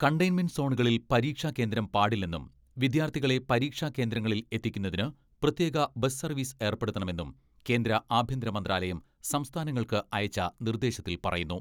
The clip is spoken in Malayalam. കണ്ടയിൻമെന്റ് സോണുകളിൽ പരീക്ഷാ കേന്ദ്രം പാടില്ലെന്നും വിദ്യാർത്ഥികളെ പരീക്ഷാ കേന്ദ്രങ്ങളിൽ എത്തിക്കുന്നതിന് പ്രത്യേക ബസ് സർവ്വീസ് ഏർപ്പെടുത്തണമെന്നും കേന്ദ്ര ആഭ്യന്തര മന്ത്രാലയം സംസ്ഥാനങ്ങൾക്ക് അയച്ച നിർദ്ദേശത്തിൽ പറയുന്നു.